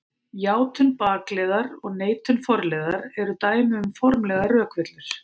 Játun bakliðar og neitun forliðar eru dæmi um formlegar rökvillur.